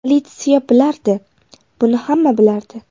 Politsiya bilardi, buni hamma bilardi.